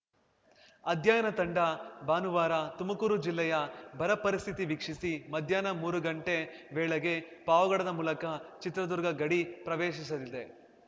ಅಧ್ಯಯನ ತಂಡ ಭಾನುವಾರ ತುಮಕೂರು ಜಿಲ್ಲೆಯ ಬರ ಪರಿಸ್ಥಿತಿ ವೀಕ್ಷಿಸಿ ಮಧ್ಯಾಹ್ನ ಮೂರು ಗಂಟೆ ವೇಳೆಗೆ ಪಾವಗಡದ ಮೂಲಕ ಚಿತ್ರದುರ್ಗ ಗಡಿ ಪ್ರವೇಶಿಸಲಿದೆ